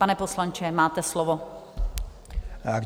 Pane poslanče, máte slovo.